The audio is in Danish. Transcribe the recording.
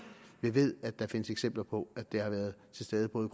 vi ved at der findes eksempler på at det har været til stede både